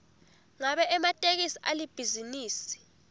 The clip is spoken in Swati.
ngabe ematekisi alibhizinisi